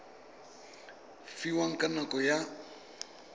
fiwang ka nako e a